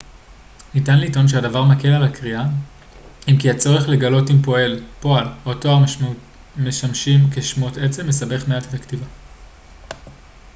ניתן לטעון שהדבר מקל על הקריאה אם כי הצורך לגלות אם פועל או תואר משמשים כשמות עצם מסבך מעט את הכתיבה